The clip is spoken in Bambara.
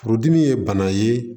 Furudimi ye bana ye